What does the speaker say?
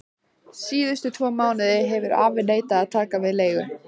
Síðustu tvo mánuði hefur afi neitað að taka við leigu.